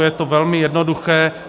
Je to velmi jednoduché.